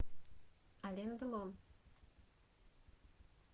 ален делон